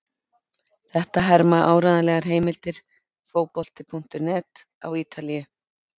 Þetta herma áreiðanlegar heimildir Fótbolti.net á Ítalíu.